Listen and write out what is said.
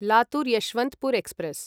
Latur Yeshwantpur express